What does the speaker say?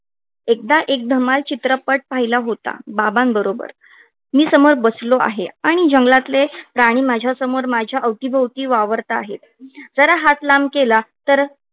एकदा एक धमाल चित्रपट पाहिला होता. बाबांबरोबर मी समोर बसलो आहे आणि जंगलातले प्राणी माझ्यासमोर माझ्या अवतीभोवती वावरत आहेत. जरा हात लांब केला तर.